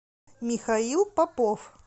михаил попов